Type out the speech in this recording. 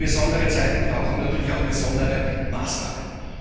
Besondere Zeiten brauchen natürlich auch besondere Maßnahmen.